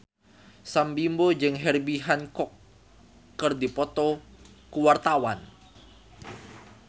Sam Bimbo jeung Herbie Hancock keur dipoto ku wartawan